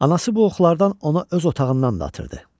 Anası bu oxlardan ona öz otağından da atırdı.